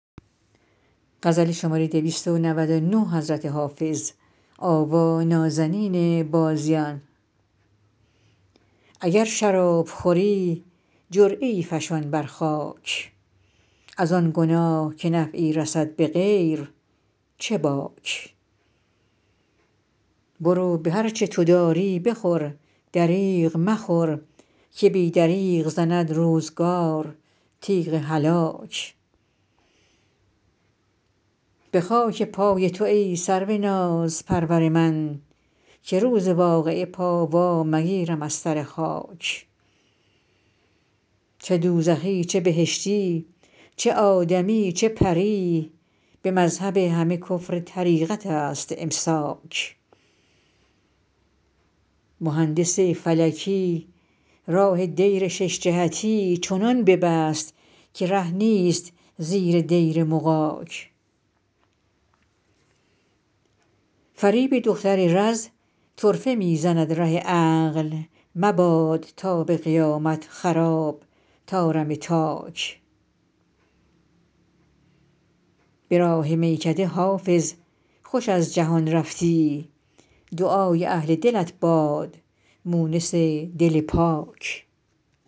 اگر شراب خوری جرعه ای فشان بر خاک از آن گناه که نفعی رسد به غیر چه باک برو به هر چه تو داری بخور دریغ مخور که بی دریغ زند روزگار تیغ هلاک به خاک پای تو ای سرو نازپرور من که روز واقعه پا وا مگیرم از سر خاک چه دوزخی چه بهشتی چه آدمی چه پری به مذهب همه کفر طریقت است امساک مهندس فلکی راه دیر شش جهتی چنان ببست که ره نیست زیر دیر مغاک فریب دختر رز طرفه می زند ره عقل مباد تا به قیامت خراب طارم تاک به راه میکده حافظ خوش از جهان رفتی دعای اهل دلت باد مونس دل پاک